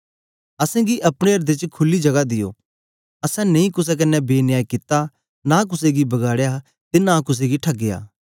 असेंगी अपने एर्दें च खुली जगा दियो असैं नेई कुसे कन्ने बेन्याय कित्ता नां कुसे गी बगाड़या ते नां कुसे गी ठगया